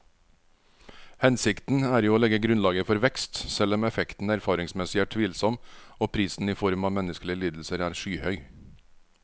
Hensikten er jo å legge grunnlaget for vekst, selv om effekten erfaringsmessig er tvilsom og prisen i form av menneskelige lidelser er skyhøy.